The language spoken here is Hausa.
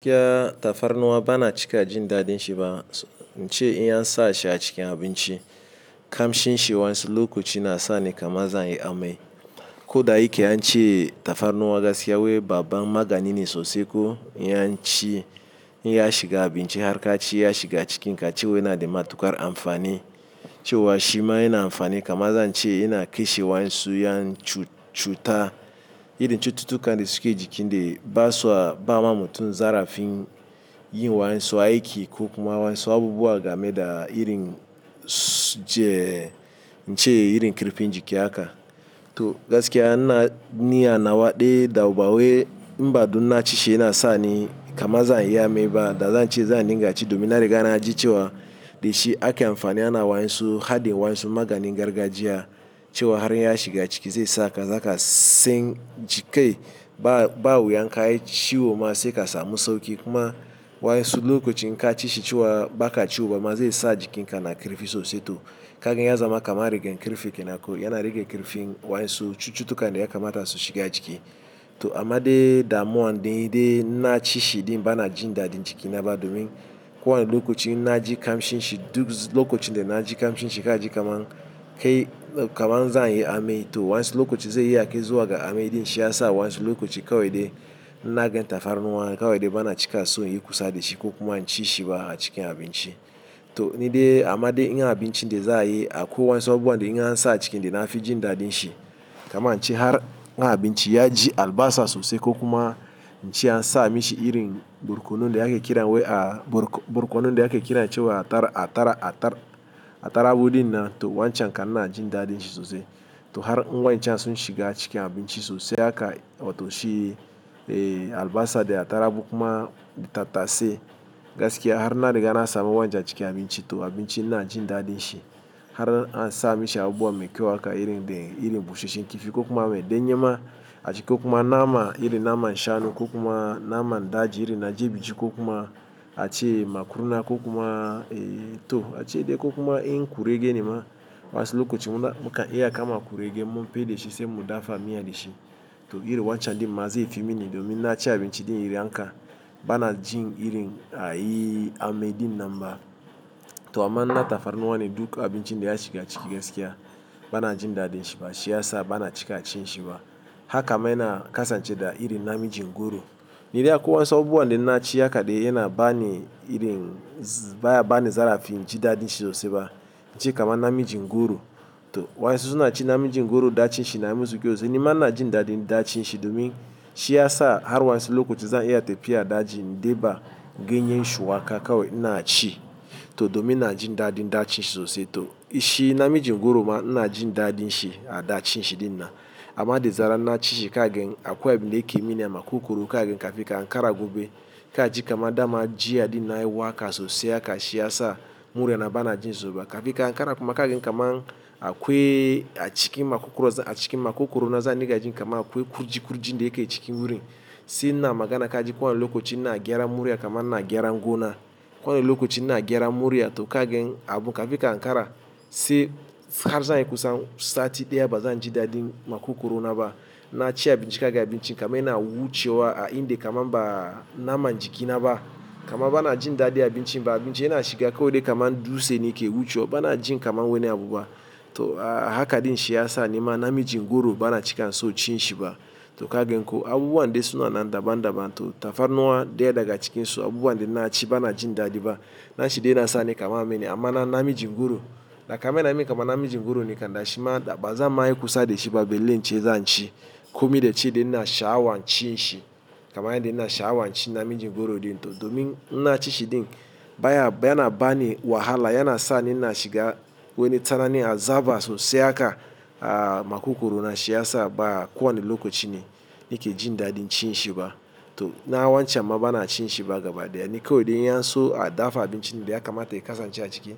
Gaskiya tafarnuwa bana cika jindaɗin shi ba, ince in ansa shi a cikin abinci, kamshin shi wainsu lokaci na sa ni kama zan yi amai. Ko da yake an ce tafarnuwa gaskiya wai babba magani ne sosai ko in yansa shi, in ya shiga abinci har ka ci ya shiga cikin ka cewa yana da matuƙar amfani. Cewa shima yana amfani kaman zan ce yana ƙashe wansu, ƴan cu-cuta. Irin cututtukan da suke jiki da ba sa ba ma mutum zarafin yin waƴansu aiki ko kuma waƴansu abubuwa game da irin ince irin ƙarfin jiki haka. To gaskiya ina ni anawa dai da bawai, in ba dan ina ci shi yana sa ni kaman zan yi amai ba, da zan ce zan dinga ci domin na riga na ji cewa da shi ake amfani ana waƴansu, haɗin waƴansu maganin gargajiya cewa har in ya shiga ciki zai saka zaka sin ji kai ba-ba wuya in ka yi ciwo ma sai ka samu sauƙi. Kuma waƴansu lokaci in ka ci shi cewa ba ka ciwo ba ma zai sa jikin ka na ƙarfi sosai. To kagan ya zama kaman rigan karfe kenan ko yana rage ƙarfin waƴansu cututtukan da ya kamata su shiga jiki. To amma dai damuwan daidai in na ci shi din bana jin daɗin jiki na ba domin ko wane lokaci na ji kamshin shi duk lokacin da na ji kamshin shi ka ji kaman kai kaman zan yi amai. To waƴansu lokaci zai iya kai zuwa ga amai din shi ya sa waƴansu lokaci kawai dai in na gan tafarnuwa kawai dai bana cika so in yi kusa da shi ko kuma in ci shi ba a cikin abinci. To ni dai amma dai in ga abinci dai za a yi, a ko waƴansu abubuwa dai in an sa a ciki da na fi jindaɗin shi. Kaman in ce har in abinci ya ji albasa sosai ko kuma ince an sa mishi irin barkono da yake kira wai a barko-barkono da yake kira cewa atar-atar-atar-atarugu din nan to wancan kan ina jindaɗin shi sosai. To har in wa in can sun shiga cikin abinci sosai haka, wato shi albasa da atarugu kuma da tattasai gaskiya har na riga na samu wancan a cikin abinci to abinci ina jindaɗin shi. Har an sa mishi abubuwa mai kyau haka irin dai irin busasshen kifi ko kuma wai ɗanye ma a ciki kuma nama irin naman shanu ko kuma naman daji irin na jibiji ko kuma a ce makurna ko kuma to ace dai ko kuma in kurege nema waƴansu lokaci muna mukan iya kama kurege in mun feɗe shi sai mu dafa miyi a da shi. To iri wancan ɗin mazai fi mini domin in na ci abinci ɗin irin haka bana jin irin a yi amai din nan ba. To amma in na tafarnuwa ne duk abincin da ya shiga ciki gaskiya bana jindaɗin shi ba. Shi ya sa bana cika cin shi ba. Haka ma yana kasance da irin na mijin goro. Ni dai a ko waƴansu abubuwa da in na ci haka dai yana ba ni irin ba ya bani zarafin jindaɗin shi sosai ba. In ce kaman na mijin goro. To waƴansu suna cin namijin goro ɗacin shi na yi masu kawai. Ni ma ina jindaɗin da cin shi domin shi ya sa har waƴansu lokaci zan iya tafiya da jini in ɗeba ganyen shuwaka kawai ina ci. To domin ina jindaɗin ɗacin shi sosai. To shi na mijin goro ma ina jindaɗin shi a ɗacin shi ɗin nan. Amma da zaran na ci shi kagan akwai abinda yake mini a makwogworo kagan kafin ka Ankara gobe ka ji kaman dama jiya din na yi waƙa sosai haka shi ya sa murya na bana jin zuba. Ka fi ka Ankara kuma kagan kaman akwai a cikin makwogoro a cikin makwogorona zan dinga jin kaman akwai kurji-kurjin da yake cikin wurin. Se ina magana ka ji ko wani lokaci ina gyaran murya kaman ina gyaran gona. Ko wani lokaci ina gyaran murya to kagen abu ka fi ka Ankara se har zan yi kusa sati ɗaya ba zan jindaɗin makwogorona ba. Na ci abinci kagan abincin kaman yana wucewa a inda kaman ba naman jiki na ba. Kaman bana jindaɗin abincin ba abincin yana shiga kawai dai kama dutse ne ke wucewa bana jin kaman wani abu ba. To haka dai shi ya sa ni ma namijin goro bana cika son cin shi ba. To kagan ko abubuwan dai suna nan daban-daban to tafarnuwa ɗaya daga cikin su abubuwan da in na ci bana jindaɗi ba. Na ci dai yana sa ni kaman amai ne amma na-na mijin goro. Da kaman yana min kaman namijin goro ne kam da shima da ba zan ma yi kusa da shi ba. Balle ince zan ci, komai da ci dai ina sha'awan cin shi. Kaman yanda ina sha'awan cin namijin goro ɗin to domin in na ci shi ɗin baya yana ba ni wahala yana sa ni ina shiga wani tsananin azaba sosai haka a makwogorona shi ya sa ba ko wani lokaci ne nake jindaɗin cin shi ba. To na wancan ma bana cin shi ba gaba ɗaya. Ni kawai dai in ya so a dafa abinci dai ya kamata ya kasance a ciki.